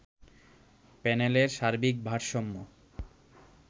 প্যানেলের সার্বিক ভারসাম্য